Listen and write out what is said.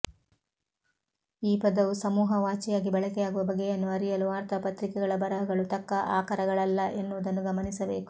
ಈ ಪದವು ಸಮೂಹವಾಚಿಯಾಗಿ ಬಳಕೆಯಾಗುವ ಬಗೆಯನ್ನು ಅರಿಯಲು ವಾರ್ತಾಪತ್ರಿಕೆಗಳ ಬರಹಗಳು ತಕ್ಕ ಆಕರಗಳಲ್ಲ ಎನ್ನುವುದನ್ನು ಗಮನಿಸಬೇಕು